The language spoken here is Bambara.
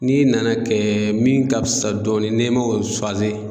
N'i nana kɛ min ka fisa dɔɔni n'i ma o